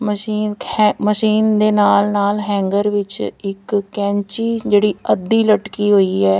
Machine machine ਦੇ ਨਾਲ ਨਾਲ ਹੈਂਗਰ ਵਿੱਚ ਇੱਕ ਕੈਂਚੀ ਜਿਹੜੀ ਅੱਧੀ ਲਟਕੀ ਹੋਈ ਹੈ।